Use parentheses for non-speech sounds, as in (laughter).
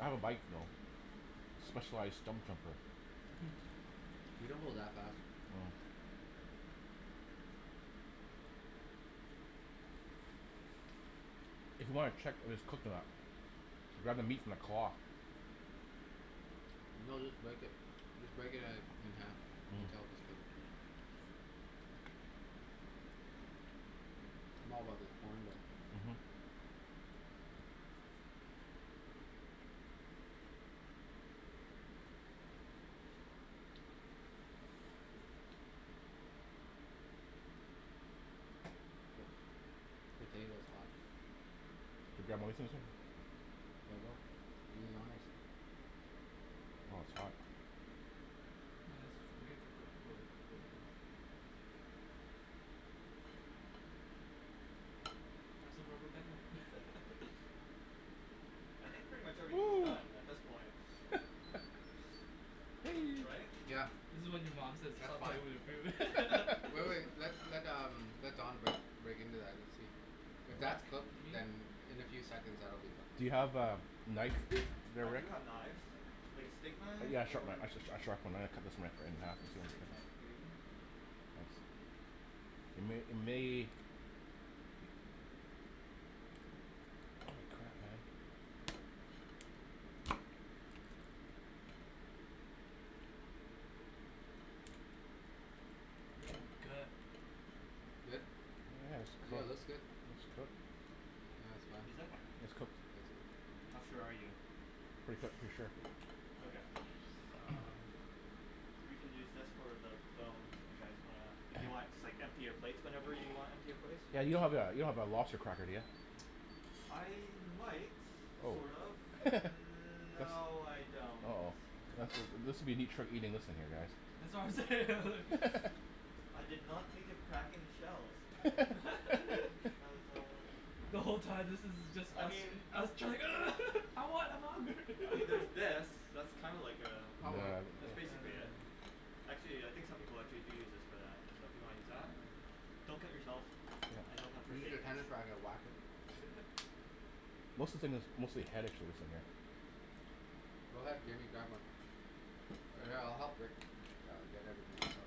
I have a bike though. Specialized (inaudible) Mhm. We don't go that fast. Oh. If you wanna check if it's cooked or not Grab the meat from the claw. No, just break it. Just break it uh in half. You Mm. can tell if it's cooked. I'm all about the corn though. Mhm. Oh. Potato's hot. Could you grab? (inaudible) (noise) (inaudible) Do the honors. Oh it's hot. (inaudible) Have some rubberband. (laughs) I think pretty much everything's done at (noise) this point. Wee. Right. Yeah. This is when your mom says, That's "Stop fine. playing with your food." (laughs) Wait, wait. Let, let um, let Don break, break into that and see. If Wreck? that's cooked, You mean? then in a few seconds that will be Do cooked. you have a knife there, I do Rick? have knives. Like a steak knife? Yeah, a sharp knife, Or? a sh- sh- sharp one. I'm gonna cut this right, right in half, I think. Yeah. Nice. It may, it may Good. Good? Yeah, it's Yeah, it looks cooked. good. It's cooked. Yeah, it's fine. It's cooked. Yeah, How it's cooked. sure are you? Pretty cooked for sure. (laughs) Okay. Um You can use this for the bones if you guys wanna, if you want, just, like, empty your plate whenever you wanna empty your plates. Yeah, Yeah, you you don't don't have have that, a Oh. don't have a lobster cracker, do you? I might, Oh. sort of. (laughs) Mm- That's, no, I don't. oh. That's wha- this will be neat trick eating this thing here, That's guys. what I'm saying. (laughs) I did not think of cracking the shells. (laughs) (laughs) There's um The whole time this is just I us. mean Us trying, "Ugh. (laughs) I want, I want." (laughs) I mean there's this. That's kinda like uh, That'll work. that's Oh basically yeah. it. Actually, yeah, I think some people, like, they do use this for that, so if you wanna use that? Oh. Don't cut yourself. I don't have first Use aid your kits. tennis racket, wack it. (laughs) Most of the thing that's, mostly. (inaudible) Go ahead, Jimmy, grab one. All right, I'll help Rick. (inaudible) you get everything else up.